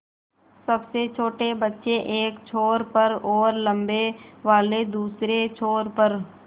सबसे छोटे बच्चे एक छोर पर और लम्बे वाले दूसरे छोर पर